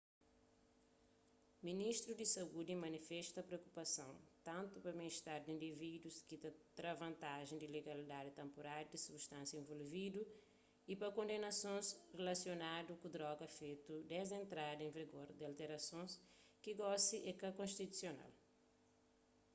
ministru di saúdi manifesta priokupason tantu pa ben-istar di indivídus ki ta tra vantaji di legalidadi tenpuráriu di substánsias involvidu y pa kondenasons rilasionadu ku droga fetu desdi entrada en vigor di alterasons ki gosi é ka konstitusional